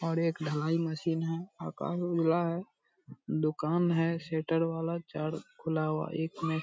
और एक ढलाई मशीन है आकाश उजला है दुकान है शटर वाला चारों खुला हुआ है एक में --